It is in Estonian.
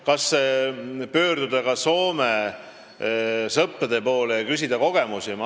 Kas pöörduda Soome sõprade poole ja küsida kogemusi?